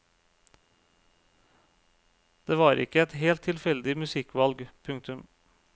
Det var ikke et helt tilfeldig musikkvalg. punktum